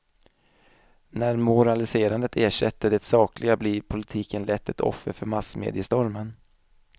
När moraliserandet ersätter det sakliga blir politikern lätt ett offer för massmediestormen.